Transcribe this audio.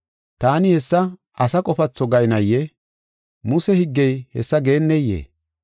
Taani hessa asa qofatho gaynayee? Muse higgey hessa geeneyee?